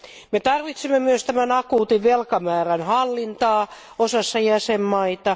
Me tarvitsemme myös tämän akuutin velkamäärän hallintaa osassa jäsenvaltioita.